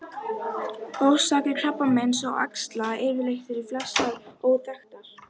Orsakir krabbameins og æxla yfirleitt eru flestar óþekktar.